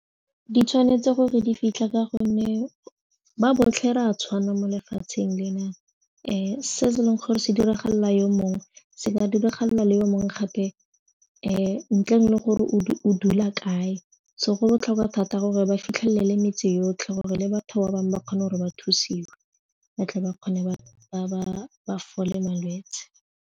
Di tshwanetse gore di fitlha ka gonne ba botlhe re a tshwana mo lefatsheng lena se e leng gore se diragalela yo mongwe se ka diragalela le yo mongwe gape ntleng le gore o dula kae so go botlhokwa thata gore ba fitlhelele metsi yotlhe gore le batho ba bangwe ba kgone gore ba thusiwe batle ba kgone ba fole malwetse.